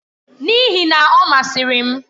N'ihi na, ọ masịrị m.